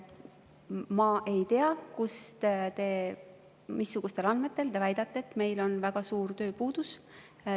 Ma ei tea, missugustele andmetele te väidate, et meil on väga suur tööpuudus.